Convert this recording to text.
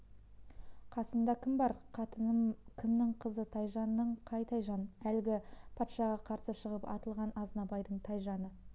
қасыңда кім бар қатыным кімнің қызы тайжанның қай тайжан әлгі патшаға қарсы шығып атылған азнабайдың тайжаны